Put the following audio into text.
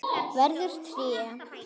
Verður tré.